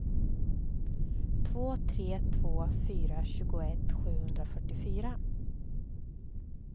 två tre två fyra tjugoett sjuhundrafyrtiofyra